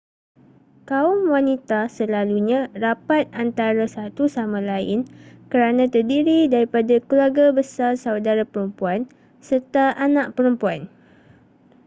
kaum wanita selalunya rapat antara satu sama lain kerana terdiri daripada keluarga besar saudara perempuan serta anak perempuan